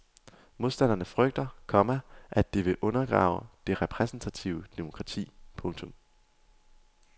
Modstanderne frygter, komma at det vil undergrave det repræsentative demokrati. punktum